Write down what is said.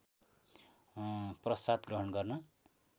प्रसाद ग्रहण गर्न